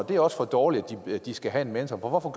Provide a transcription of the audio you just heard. det er også for dårligt de skal have en mentor og